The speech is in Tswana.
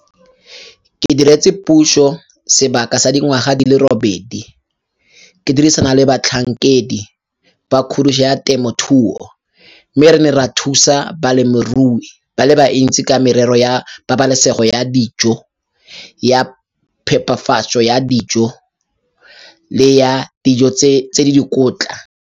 "Ke diretse puso sebaka sa dingwaga di le robedi, ke dirisana le batlhankedi ba kgodiso ya temothuo, mme re ne ra thusa balemirui ba le bantsi ka merero ya pabalesego ya dijo, ya phepafatso ya dijo le ya dijo tse di dikotla."